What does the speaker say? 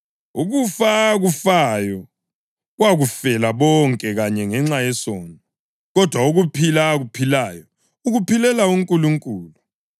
Ukufa akufayo wakufela bonke kanye ngenxa yesono; kodwa ukuphila akuphilayo, ukuphilela uNkulunkulu.